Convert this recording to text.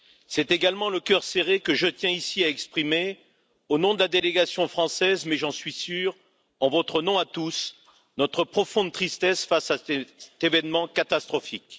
C'est également le cœur serré que je tiens ici à exprimer, au nom de la délégation française, mais aussi, j'en suis sûr, en votre nom à tous, notre profonde tristesse face à cet événement catastrophique.